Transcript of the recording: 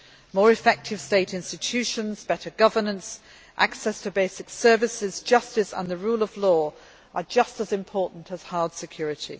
More effective state institutions, better governance, access to basic services, justice and the rule of law are just as important as hard security.